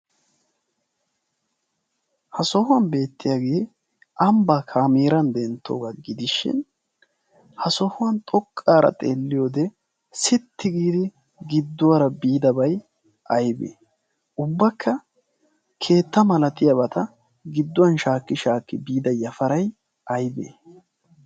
ha sohuwan beettiyagge abaa kaameeran dentoogaa gidishin ha sohuwan xoqaara xeeliyode xoqaara biida yafaray aybee ubba keetta malatiyabata biida yafaray aybee